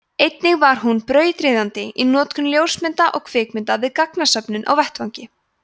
einnig var hún brautryðjandi í notkun ljósmynda og kvikmynda við gagnasöfnun á vettvangi